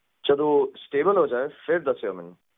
ਜਦੋ ਸਟੇਬਲ ਹੋ ਜਾਏ ਫੇਰ ਦਸਿਓ ਮੈਨੂੰ